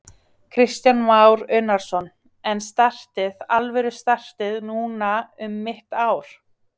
Kristján Már Unnarsson: En startið, alvöru startið, núna um mitt ár?